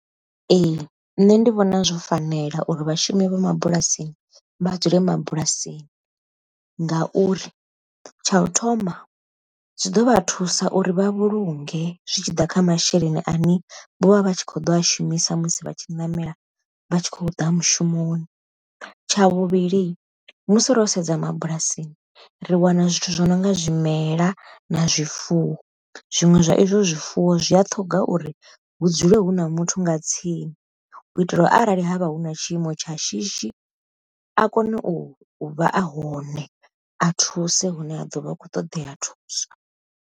Ee nṋe ndi vhona zwo fanela uri vhashumi vha mabulasini vha dzule mabulasini, ngauri tsha u thoma zwi ḓo vha thusa uri vha vhulunge zwitshiḓa kha masheleni ane vha vha tshi kho ḓo a shumisa musi vha tshi ṋamela vha tshi khou ḓa mushumoni. Tsha vhuvhili musi ro sedza mabulasini ri wana zwithu zwo nonga zwimela na zwifuwo zwiṅwe zwa izwo zwifuwo zwi a ṱhoga uri hu dzule hu na muthu nga tsini, u itela uri arali havha hu na tshiimo tsha shishi a kone u vha a hone a thuse hune ha ḓovha a kho ṱoḓea thuso.